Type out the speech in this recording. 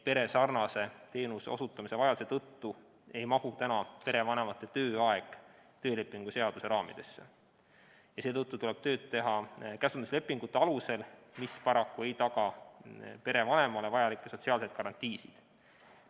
Peresarnase teenuse osutamise vajaduse tõttu ei mahu perevanemate tööaeg praegu töölepingu seaduse raamidesse ning seetõttu tuleb tööd teha käsunduslepingute alusel, see aga ei taga paraku perevanemale vajalikke sotsiaalseid garantiisid.